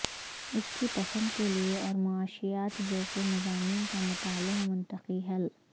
اس کی پسند کے لئے اور معاشیات جیسے مضامین کا مطالعہ منطقی حل